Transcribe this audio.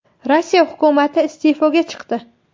Rossiya hukumati iste’foga chiqdi.